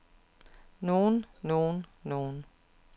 nogen nogen nogen